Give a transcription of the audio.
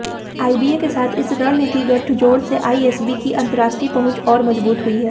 IBA के साथ इस रणनीतिक गठजोड़ से आईएसबी की अंतरराष्ट्रीय पहुंच और मजबूत हुई है